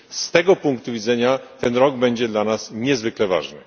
Z tego punktu widzenia ten rok będzie dla nas niezwykle ważny.